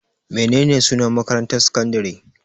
Menene sunan makarantar sakandare?